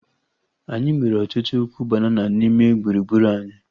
Anyị nwere ọtụtụ ukwu banana n'ime gburugburu anyi